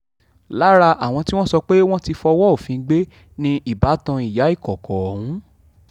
lára àwọn tí wọ́n sọ pé wọ́n ti fọwọ́ òfin gbé ni ìbátan ìyá ìkọ̀kọ̀ ọ̀hún